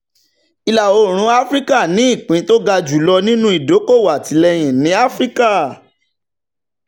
ìlà-oòrùn áfíríkà ní ìpín tó ga jùlọ nínú ìdókòwò àtìlẹ́yìn ní áfíríkà